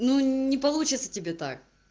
ну не получится тебе так